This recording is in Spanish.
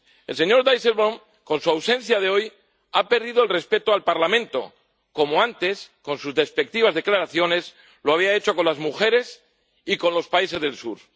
El señor Dijsselbloem, con su ausencia de hoy, ha perdido el respeto al Parlamento, como antes con sus despectivas declaraciones lo había hecho con las mujeres y con los países del sur.